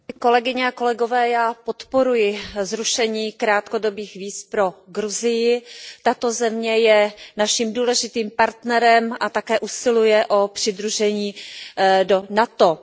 Pane předsedající, já podporuji zrušení krátkodobých víz pro Gruzii. Tato země je naším důležitým partnerem a také usiluje o přidružení do NATO.